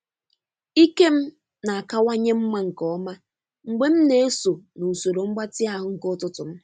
Ike m na-akawanye mma nke ọma mgbe m na-eso n'usoro mgbatị ahụ nke ụtụtụ m.